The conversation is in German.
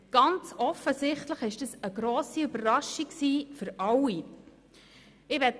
Ganz offensichtlich war das eine grosse Überraschung für alle.